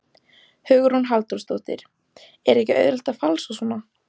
Hugrún Halldórsdóttir: Er ekki auðvelt að falsa svona?